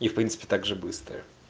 в принципе также быстро